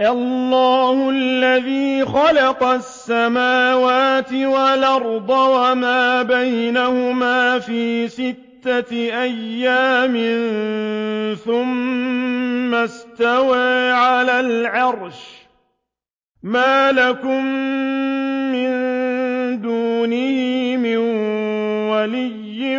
اللَّهُ الَّذِي خَلَقَ السَّمَاوَاتِ وَالْأَرْضَ وَمَا بَيْنَهُمَا فِي سِتَّةِ أَيَّامٍ ثُمَّ اسْتَوَىٰ عَلَى الْعَرْشِ ۖ مَا لَكُم مِّن دُونِهِ مِن وَلِيٍّ